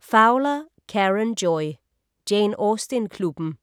Fowler, Karen Joy: Jane Austen-klubben